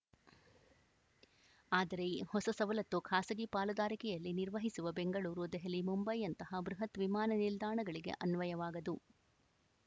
ಆದರೆ ಈ ಹೊಸ ಸವಲತ್ತು ಖಾಸಗಿ ಪಾಲುದಾರಿಕೆಯಲ್ಲಿ ನಿರ್ವಹಿಸುವ ಬೆಂಗಳೂರು ದೆಹಲಿ ಮುಂಬೈಯಂತಹ ಬೃಹತ್‌ ವಿಮಾನ ನಿಲ್ದಾಣಗಳಿಗೆ ಅನ್ವಯವಾಗದು